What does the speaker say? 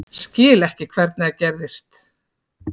Skil ekki hvernig það gerðist.